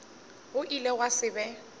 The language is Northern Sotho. go ile gwa se be